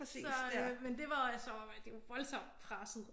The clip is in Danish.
Så øh men det var så det jo voldsomt presset